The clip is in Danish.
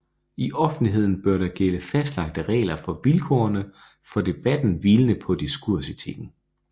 I offentligheden bør der gælde fastlagte regler for vilkårene for debatten hvilende på diskursetikken